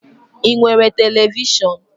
I nwere televishọn?